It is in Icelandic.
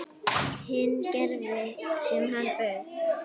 Hinn gerði sem hann bauð.